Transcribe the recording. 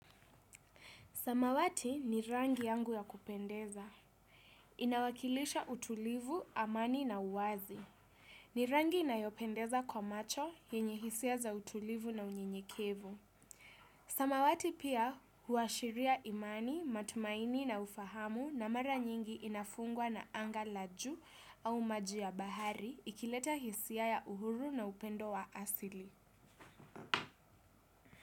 Samawati ni rangi yangu ya kupendeza. Inawakilisha utulivu, amani na uwazi. Ni rangi inayopendeza kwa macho, yenye hisia za utulivu na unyenyekevu. Samawati pia huashiria imani, matumaini na ufahamu na mara nyingi inafungwa na anga la juu au maj yia bahari ikileta hisia ya uhuru na upendo wa asili.